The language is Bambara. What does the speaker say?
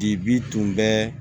Dibi tun bɛ